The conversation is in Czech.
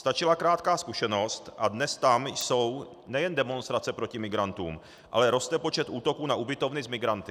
Stačila krátká zkušenost, a dnes tam jsou nejen demonstrace proti migrantům, ale roste počet útoků na ubytovny s migranty.